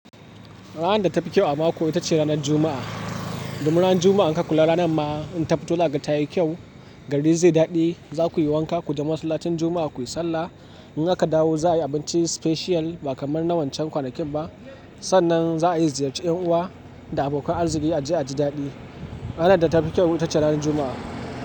Ranar da tafi kyau a mako ita ce ranar Juma'a. Domin ran Juma'a in ka kula ranar ma in tafito zaka ga ta yi kyau, gari zai daɗe. Za ku yi wanka, ku je masallacin Juma'a kuyi sallah. In aka dawo, za a yi abinci special ba kamar na wancan kwanakin ba. Sannan za a ziyarci 'yan uwa da abokan arziki a je a ji daɗi. Ranar da tafi kyau ita ce ranar Juma'a.